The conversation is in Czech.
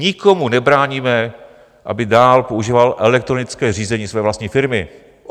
Nikomu nebráníme, aby dál používal elektronické řízení své vlastní firmy.